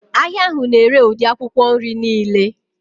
Ahịa ahụ na-ere ụdị akwụkwọ nri niile